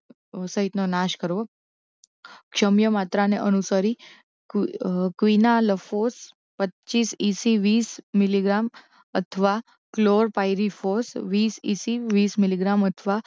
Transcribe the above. સહિતનો નાશ કરવો ક્ષમ્ય માત્રાને અનુસરી ક્વી ક્વીનાલફોસ પચ્ચીસ ઇસી વીસ મિલીગ્રામ અથવા ક્લોરપાયરીફોસ વીસ ઇસી વીસ મિલીગ્રામ અથવા